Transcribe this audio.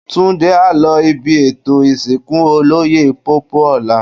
Túndé á lọ ibi ètò ìsìnkú Olóyè Pópóọlá.